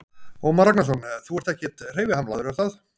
Ómar Ragnarsson: Þú ert ekkert hreyfihamlaður, er það?